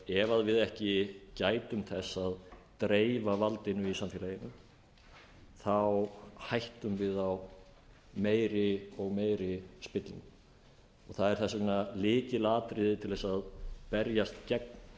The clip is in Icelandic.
ef við ekki gætum þess að dreifa valdinu í samfélaginu hættum við á meiri og meiri spillingu það er þess vegna lykilatriði til þess að berjast gegn